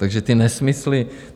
Takže ty nesmysly...